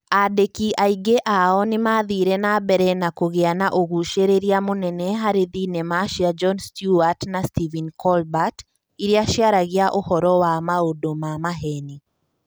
Aandĩki aingĩ ao nĩ maathire na mbere kũgĩa na ũgucĩrĩria mũnene harĩ thenema cia Jon Stewart na Stephen Colbert iria ciaragia ũhoro wa maũndũ ma maheeni.